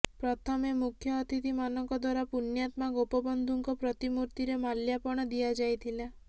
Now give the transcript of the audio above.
ପ୍ରଥମେ ମୁଖ୍ୟ ଅତିଥି ମାନଙ୍କ ଦ୍ବାରା ପୁଣ୍ୟାତ୍ମା ଗୋପବନ୍ଧୁ ଙ୍କ ପ୍ରତୀମୃତୀରେ ମାଲ୍ୟାର୍ପଣ ଦିଆଯାଇଥିଲା